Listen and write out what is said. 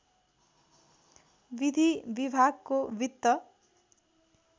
विधि विभागको वित्त